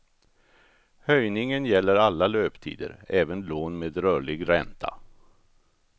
Höjningen gäller alla löptider, även lån med rörlig ränta.